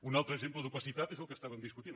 un altre exemple d’opacitat és el que estàvem discutint